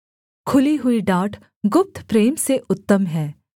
खुली हुई डाँट गुप्त प्रेम से उत्तम है